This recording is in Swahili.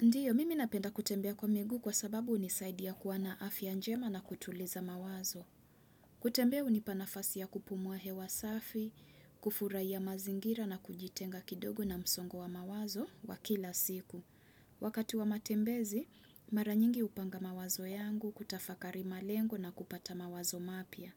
Ndiyo, mimi napenda kutembea kwa miguu kwa sababu unisaidia kuwa na afya njema na kutuliza mawazo. Kutembea unipa nafasi ya kupumua hewa safi, kufuraia mazingira na kujitenga kidogo na msongo wa mawazo wa kila siku. Wakati wa matembezi, maranyingi hupanga mawazo yangu, kutafakari malengo na kupata mawazo mapya.